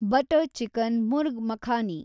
butter chicken, murgh makhani